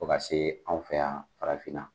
Fo ka se anw fɛ yan farafinna.